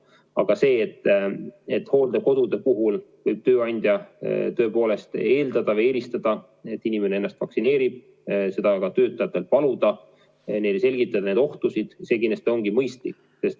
Aga see, et hooldekodude puhul võib tööandja tõepoolest eeldada, et inimene ennast vaktsineerib, ja seda ka töötajatelt palub ning selgitab neile ohtusid – see kindlasti on mõistlik.